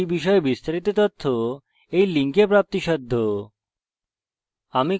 এই বিষয়ে বিস্তারিত তথ্য এই লিঙ্কে প্রাপ্তিসাধ্য